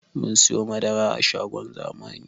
Mun siyo madara a shagon zamani